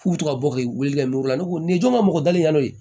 K'u bɛ to ka bɔ ka wuli ka miri u la ne ko nin jɔn ma mɔgɔ dali ka n'o ye